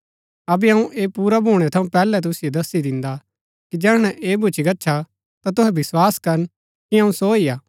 अबै अऊँ ऐह पुरा भूणै थऊँ पैहलै तुसिओ दस्सी दिन्दा कि जैहणै ऐह भूच्ची गच्छा ता तूहै विस्वास करन कि अऊँ सो ही हा